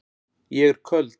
Ég er köld.